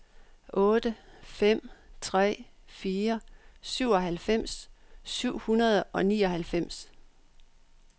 otte fem tre fire syvoghalvfems syv hundrede og nioghalvfems